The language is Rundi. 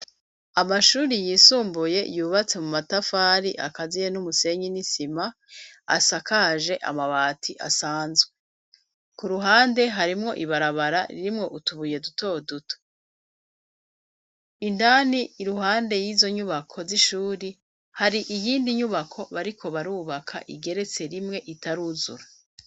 Amashuri yisumbuye yubatse mu matafari akaziye n'umusenyi ni sima asakaje amabati asanzwe .Ku ruhande harimwo ibarabara ririmwo utubuye duto duto indani. Iruhande y'izo nyubako z'ishuri hari iyindi nyubako bariko barubaka igeretse rimwe itaruzura.